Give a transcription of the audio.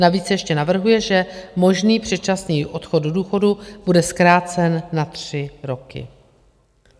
Navíc ještě navrhuje, že možný předčasný odchod do důchodu bude zkrácen na tři roky.